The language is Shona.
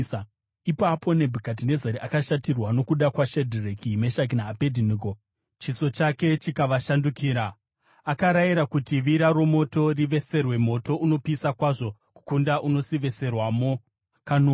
Ipapo Nebhukadhinezari akashatirwa nokuda kwaShadhireki, Meshaki naAbhedhinego, chiso chake chikavashandukira. Akarayira kuti vira romoto riveserwe moto unopisa kwazvo kukunda unosiveserwamo kanomwe.